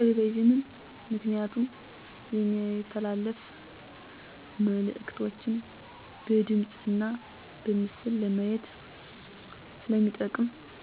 ቴሌቪዥን ምክንያቱም የሚተላለፉ መእልክቶችን በድምፅ እና በምስል ለማየት ስለሚጠቅም